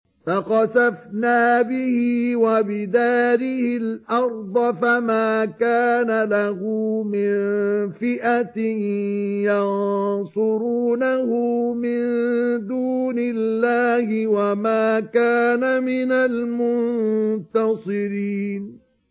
فَخَسَفْنَا بِهِ وَبِدَارِهِ الْأَرْضَ فَمَا كَانَ لَهُ مِن فِئَةٍ يَنصُرُونَهُ مِن دُونِ اللَّهِ وَمَا كَانَ مِنَ الْمُنتَصِرِينَ